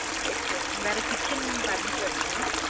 Okay வேற kitchen furnished ஆ mam